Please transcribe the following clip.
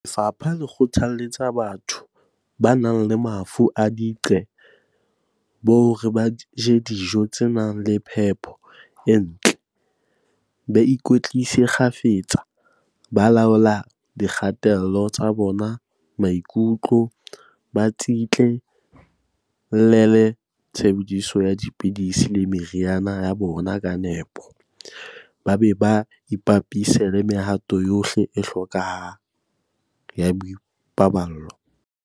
Lefapha le kgothalletsa batho ba nang le mafu a diqe-bo hore ba je dijo tse nang le phepo e ntle, ba ikwetlise kgafetsa, ba laole dikgatello tsa bona maikutlo, ba tsitla-llele tshebediso ya dipidisi le meriana ya bona ka nepo, ba be ba ipapise le mehato yohle e hlokehang ya boipaballo.